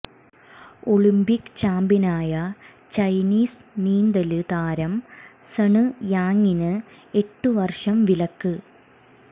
Olympic ചാമ്പ്യനായ Chinese നീന്തല് താരം സണ് യാങ്ങിന് എട്ടു വര്ഷം വിലക്ക്